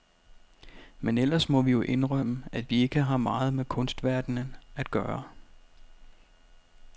Men ellers må vi jo indrømme, at vi ikke har meget med kunstverdenen at gøre.